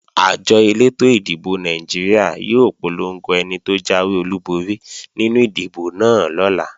Àjọ elétò ìdìbò Nàìjíríà yóò polongo ẹni tó jáwé olúborí nínú ìdìbò náà lọ́la